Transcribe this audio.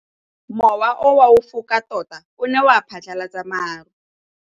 Mowa o wa go foka tota o ne wa phatlalatsa maru.